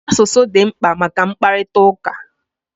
Asụsụ dị mkpa maka mkparịtaụka